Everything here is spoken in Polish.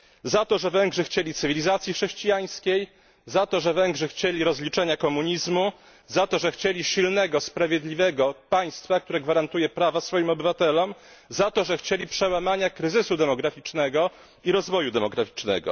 Za to, że Węgrzy chcieli cywilizacji chrześcijańskiej, za to, że Węgrzy chcieli rozliczenia komunizmu, za to, że chcieli silnego, sprawiedliwego państwa, które gwarantuje prawa swoim obywatelom, za to, że chcieli przełamania kryzysu demograficznego i rozwoju demograficznego.